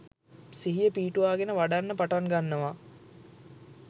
සිහිය පිහිටුවාගෙන වඩන්න පටන් ගන්නවා.